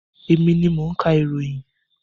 Emi ni mo ń ka ìròyìn.